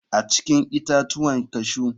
A cikin itatuwan cashew.